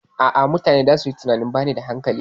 A'a, mutane zasu yi tunanin bani da hankali.